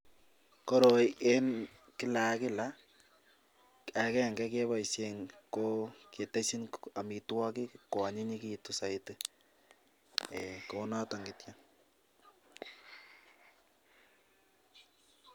Koroi en kila ka kila, agenge keboisien ketesyin amitwogik koanyinyekitun soiti, eeiy kounoto kityo.